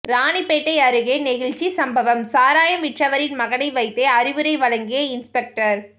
ராணிப்பேட்டை அருகே நெகிழ்ச்சி சம்பவம் சாராயம் விற்றவரின் மகனை வைத்தே அறிவுரை வழங்கிய இன்ஸ்பெக்டர்